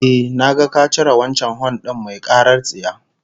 Ehh, na ga ka cire wancan hon din mai karar tsiya